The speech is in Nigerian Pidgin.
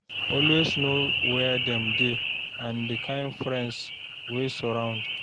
Always know where dem dey and the kind friends wey surround.